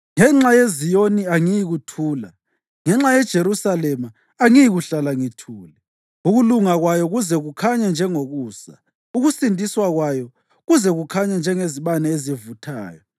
Ngenxa yeZiyoni angiyikuthula; ngenxa yeJerusalema angiyikuhlala ngithule, ukulunga kwayo kuze kukhanye njengokusa, ukusindiswa kwayo kuze kukhanye njengezibane ezivuthayo.